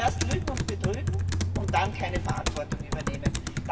Zuerst lügen und betrügen und dann keine Verantwortung übernehmen.